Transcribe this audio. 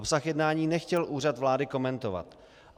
Obsah jednání nechtěl Úřad vlády komentovat.